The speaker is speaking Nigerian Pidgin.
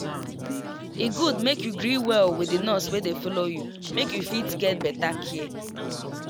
e good make you gree well with the nurse wey dey follow you make you fit get better care